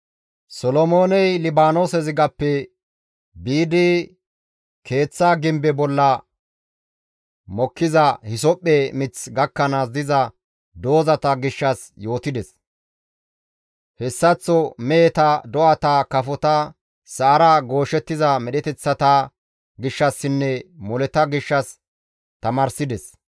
Solomooney Libaanoose zigappe biidi keeththa gimbe bolla mokkiza hisophphe mith gakkanaas diza doozata gishshas yootides; hessaththoka meheta, do7ata, kafota, sa7ara gooshettiza medheteththata gishshassinne moleta gishshas tamaarsides.